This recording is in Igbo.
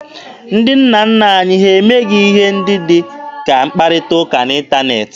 Ndị nna nna anyị ha emeghị ihe ndị dị ka mkpakọrịta n'ịntaneetị.